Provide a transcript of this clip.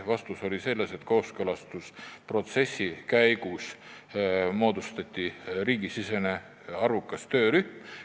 Vastus oli, et kooskõlastusprotsessi käigus moodustati riigisisene päris suur töörühm.